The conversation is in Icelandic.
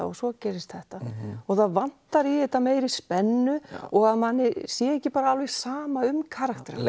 og svo gerist þetta það vantar í þetta meiri spennu og að manni sé ekki alveg sama um karakterana